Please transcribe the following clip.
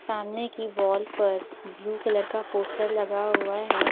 सामने की वॉल पर ब्लू कलर का पोस्टर लगा हुआ है ।